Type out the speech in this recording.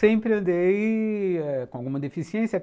Sempre andei é... com alguma deficiência.